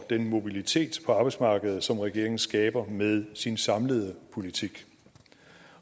den mobilitet på arbejdsmarkedet som regeringen skaber med sin samlede politik